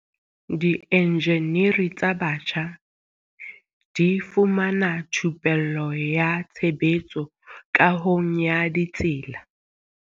Dienjeniri tsa batjha di fumana thupello ya tshebetso kahong ya ditsela.